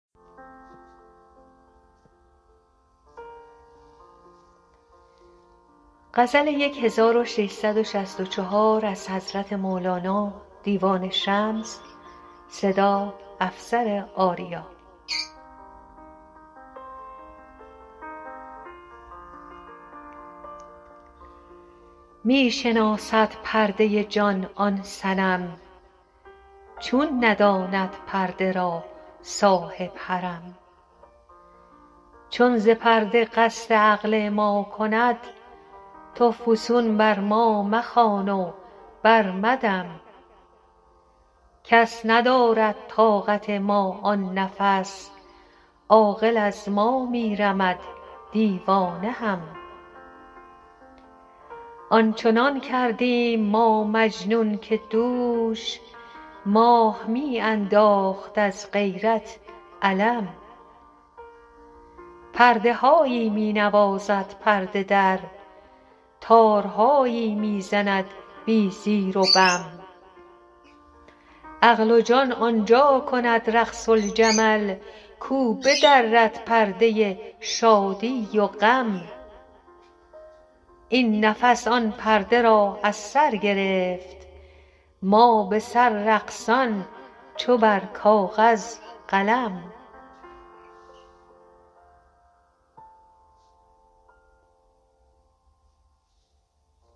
می شناسد پرده جان آن صنم چون نداند پرده را صاحب حرم چون ز پرده قصد عقل ما کند تو فسون بر ما مخوان و برمدم کس ندارد طاقت ما آن نفس عاقل از ما می رمد دیوانه هم آن چنان کردیم ما مجنون که دوش ماه می انداخت از غیرت علم پرده هایی می نوازد پرده در تارهایی می زند بی زیر و بم عقل و جان آن جا کند رقص الجمل کو بدرد پرده شادی و غم این نفس آن پرده را از سر گرفت ما به سر رقصان چو بر کاغذ قلم